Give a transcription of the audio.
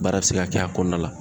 Baara be se ka kɛ a kɔnɔna la.